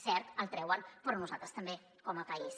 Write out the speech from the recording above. cert el treuen però nosaltres també com a país